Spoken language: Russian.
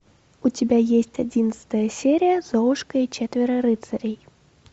у тебя есть одиннадцатая серия золушка и четверо рыцарей